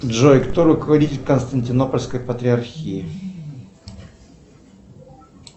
джой кто руководитель константинопольской патриархии